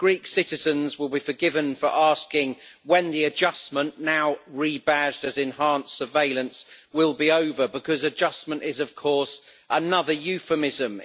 Greek citizens will be forgiven for asking when the adjustment now rebadged as enhanced surveillance will be over because adjustment is, of course, another euphemism.